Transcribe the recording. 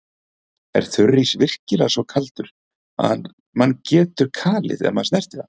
Er þurrís virkilega svo kaldur að mann getur kalið ef maður snertir hann?